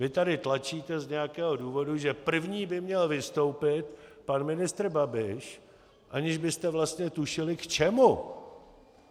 Vy tady tlačíte z nějakého důvodu, že první by měl vystoupit pan ministr Babiš, aniž byste vlastně tušili k čemu.